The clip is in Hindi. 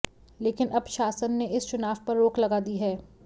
लेकिन अब शासन ने इस चुनाव पर रोक लगा दी है